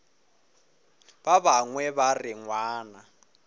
ba bangwe ba re ngwana